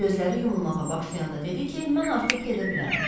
Gözləri yumulmağa başlayanda dedi ki, mən artıq gedə bilərəm.